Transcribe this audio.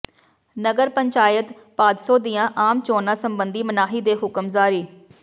ਨਗਰ ਪੰਚਾਇਤ ਭਾਦਸੋਂ ਦੀਆਂ ਆਮ ਚੋਣਾਂ ਸਬੰਧੀ ਮਨਾਹੀ ਦੇ ਹੁਕਮ ਜਾਰੀ